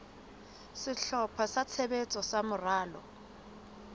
sehlopha sa tshebetso sa moralo